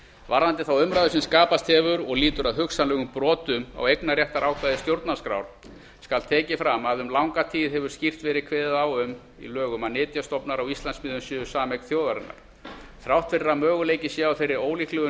varðandi þá umræðu sem skapast hefur og lýtur að hugsanlegum brotum á eignarréttarákvæði stjórnarskrár skal tekið fram að um langa tíð hefur skýrt verið kveðið á um það í lögum að nytjastofnar á íslandsmiðum séu sameign þjóðarinnar þrátt fyrir að möguleiki sé á þeirri ólíklegu